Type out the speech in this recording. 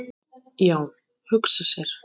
Já, hugsa sér!